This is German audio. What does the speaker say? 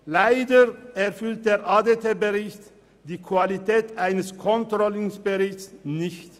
Leider erfüllt der ADT-Bericht die Anforderungen an die Qualität eines Controlling-Berichts nicht.